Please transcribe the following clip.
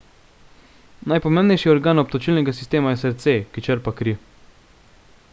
najpomembnejši organ obtočilnega sistema je srce ki črpa kri